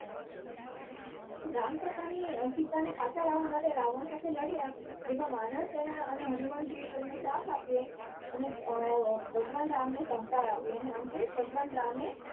રામ પોતાની સીતાને પાછી લાવવા માટે રાવણ સાથે લડ્યા જેમાં વાનરસેના હનુમાનજી એ એમનો સાથ આપ્યો અને ભગવાન રામ ને સહકાર અપૈયો અને અંતે ભગવાન રામ એ